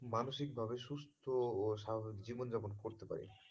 মানসিকভাবে সুস্থ ও স্বাভাবিক জীবন যাপন করতে পারে।